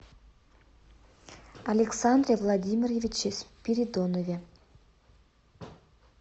александре владимировиче спиридонове